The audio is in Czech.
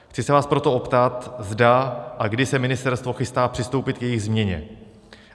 Chci se vás proto optat, zda a kdy se ministerstvo chystá přistoupit k jejich změně.